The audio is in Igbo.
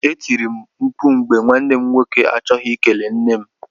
E tiri m mkpụ mgbe nwanne m nwoke achọghị ikele nne m.